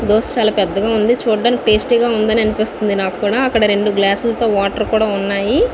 దోస చాలా పెద్దగా ఉంది. చూడ్డానికి టేస్టీగా ఉందని అనిపిస్తుంది నాక్కూడా అక్కడ రెండు గ్లాసులతో వాటర్ కూడా ఉన్నాయి.